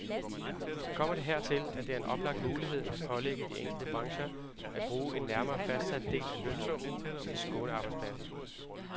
Kommer det hertil, er det en oplagt mulighed at pålægge de enkelte brancher at bruge en nærmere fastsat del af lønsummen til skånearbejdspladser.